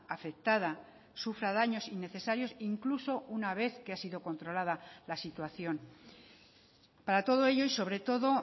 afectada sufra daños innecesarios incluso una vez que ha sido controlada la situación para todo ello y sobre todo